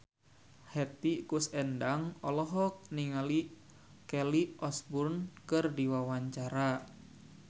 Hetty Koes Endang olohok ningali Kelly Osbourne keur diwawancara